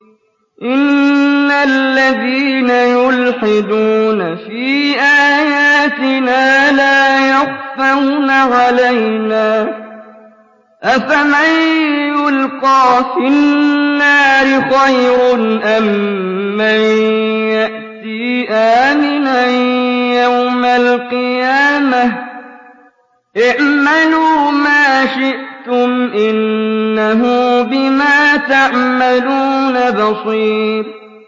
إِنَّ الَّذِينَ يُلْحِدُونَ فِي آيَاتِنَا لَا يَخْفَوْنَ عَلَيْنَا ۗ أَفَمَن يُلْقَىٰ فِي النَّارِ خَيْرٌ أَم مَّن يَأْتِي آمِنًا يَوْمَ الْقِيَامَةِ ۚ اعْمَلُوا مَا شِئْتُمْ ۖ إِنَّهُ بِمَا تَعْمَلُونَ بَصِيرٌ